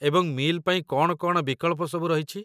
ଏବଂ ମିଲ୍ ପାଇଁ କ'ଣ କ'ଣ ବିକଳ୍ପ ସବୁ ରହିଛି?